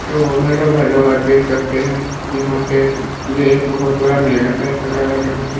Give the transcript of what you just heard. तो hello hello आप देख सकते है यहाँ पे ये एक बहोत बड़ा मेला टाइप का लग रहा है जहाँ पे--